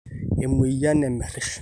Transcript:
emweyian nemerish